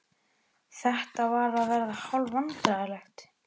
Þetta var að verða hálf vandræðalegt.